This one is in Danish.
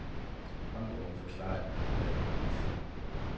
Håndbogen forklarer de grundlæggende principper.